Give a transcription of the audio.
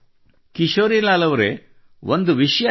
ಕಿಶೋರಿಲಾಲ್ ಅವರೇ ಒಂದು ವಿಷಯ ಹೇಳಿ